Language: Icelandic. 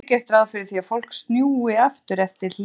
Almennt er gert ráð fyrir því að fólk snúi aftur eftir hlé.